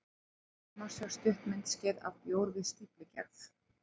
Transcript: Hér má sjá stutt myndskeið af bjór við stíflugerð.